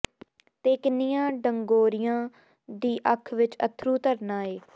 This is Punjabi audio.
ਤੇ ਕਿੰਨੀਆਂ ਡੰਗੋਰੀਆਂ ਦੀ ਅੱਖ ਵਿਚ ਅੱਥਰੂ ਧਰਨਾ ਏ